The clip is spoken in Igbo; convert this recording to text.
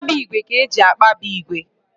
Mkpabi ígwè ka eji akpabi ígwè